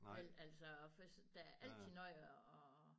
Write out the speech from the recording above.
Vel altså for der er altid noget at